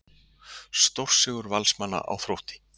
Stórsigur Valsmanna á Þrótti